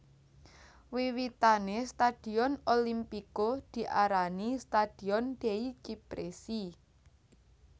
Wiwitane stadion Olimpico diarani Stadion dei Cipressi